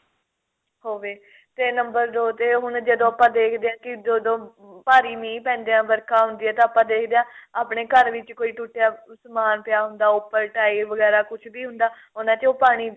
ਹੋਵੇ ਤੇ ਨੰਬਰ ਦੋ ਤੇ ਹੁਣ ਜਦੋਂ ਆਪਾਂ ਦੇਖਦੇ ਆਂ ਕੀ ਜਦੋਂ ਭਾਰੀ ਮੀਂਹ ਪੈਂਦਾ ਏ ਵਰਖਾ ਹੁੰਦੀ ਏ ਤਾਂ ਆਪਾਂ ਦੇਖਦੇ ਆਪਣੇ ਘਰ ਵਿੱਚ ਟੁੱਟਿਆ ਸਮਾਨ ਪਿਆ ਹੁੰਦਾ ਉੱਪਰ ਟਾਇਲ ਵਗੈਰਾ ਕੁੱਝ ਵੀ ਹੁੰਦਾ ਉਹਨਾ ਚ ਪਾਣੀ